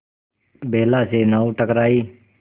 बेला से नाव टकराई